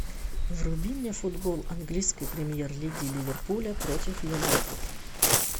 вруби мне футбол английской премьер лиги ливерпуля против юнайтед